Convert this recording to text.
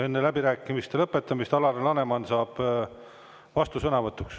Enne läbirääkimiste lõpetamist saab Alar Laneman vastusõnavõtuks.